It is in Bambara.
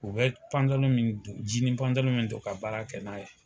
U bɛ min don min don ka baara kɛ n'a ye